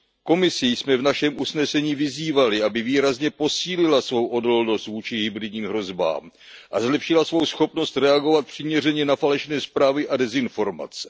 Komisi jsme v našem usnesení vyzývali, aby výrazně posílila svou odolnost vůči hybridním hrozbám a zlepšila svou schopnost reagovat přiměřeně na falešné zprávy a dezinformace.